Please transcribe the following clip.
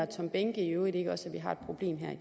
tom behnke i øvrigt ikke også